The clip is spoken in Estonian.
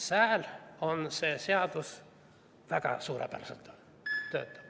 Seal töötab see seadus väga suurepäraselt.